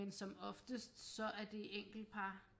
Men som oftest så er det enkelt par